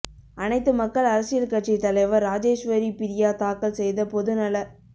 அனைத்து மக்கள் அரசியல் கட்சி தலைவர் ராஜேஸ்வரி பிரியா தாக்கல் செய்த பொதுநல